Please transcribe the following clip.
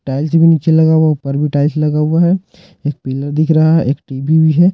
Tiles भी नीचे लगा हुआ है ऊपर भी टाइल्स लगा हुआ है एक पिलर दिख रहा है एक टी_वी भी है।